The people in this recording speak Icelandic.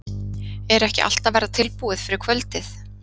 Er ekki allt að verða tilbúið fyrir kvöldið?